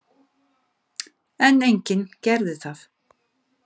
En enginn gerði það.